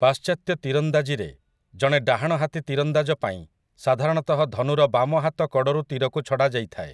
ପାଶ୍ଚାତ୍ୟ ତୀରନ୍ଦାଜିରେ, ଜଣେ ଡାହାଣହାତି ତୀରନ୍ଦାଜ ପାଇଁ ସାଧାରଣତଃ ଧନୁର ବାମ ହାତ କଡ଼ରୁ ତୀରକୁ ଛଡ଼ାଯାଇଥାଏ ।